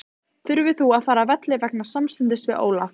Þurftir þú að fara af velli vegna samstuðsins við Ólaf?